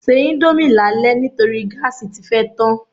Se íńdómì lálẹ́ nítorí gáàsì tí fẹ́ tán.